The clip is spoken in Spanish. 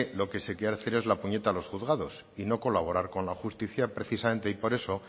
lo que se quiere hacer es la puñeta a los juzgados y no colaborar con la justicia precisamente y por eso